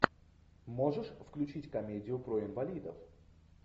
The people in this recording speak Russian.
можешь включить комедию про инвалидов